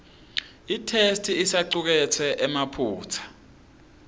itheksthi isacuketse emaphutsa